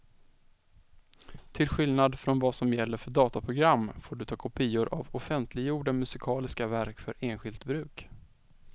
Till skillnad från vad som gäller för datorprogram får du ta kopior av offentliggjorda musikaliska verk för enskilt bruk.